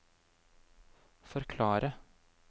forklare